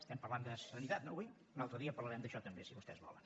estem parlant de sanitat no avui un altre dia parlarem d’això també si vostès volen